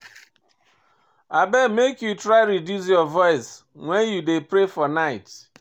Abeg make you try reduce your voice wen you dey pray for night.